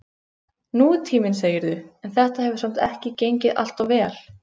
Nútíminn, segirðu, en þetta hefur samt ekki gengið alltof vel?